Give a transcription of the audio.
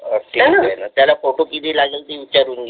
त्याला फोटो किती लागेल ते विचारून घे